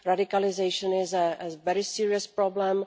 Radicalisation is a very serious problem.